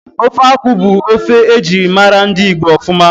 Ofe akwụ bụ ofe ejirimara ndị Igbo ofuma